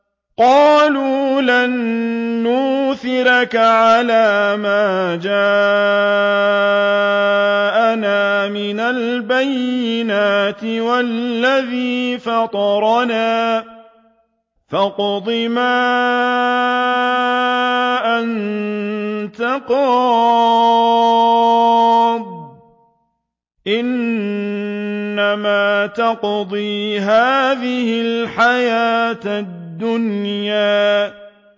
قَالُوا لَن نُّؤْثِرَكَ عَلَىٰ مَا جَاءَنَا مِنَ الْبَيِّنَاتِ وَالَّذِي فَطَرَنَا ۖ فَاقْضِ مَا أَنتَ قَاضٍ ۖ إِنَّمَا تَقْضِي هَٰذِهِ الْحَيَاةَ الدُّنْيَا